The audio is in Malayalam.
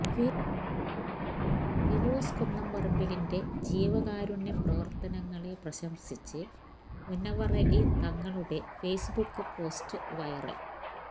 ഫിറോസ് കുന്നംപറമ്പിലിന്റെ ജീവകാരുണ്യ പ്രവര്ത്തനങ്ങളെ പ്രശംസിച്ച് മുനവ്വറലി തങ്ങളുടെ ഫെയ്സ്ബുക്ക് പോസ്റ്റ് വൈറല്